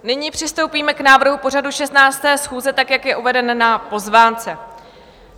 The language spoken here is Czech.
Nyní přistoupíme k návrhu pořadu 16. schůze tak, jak je uvedeno na pozvánce.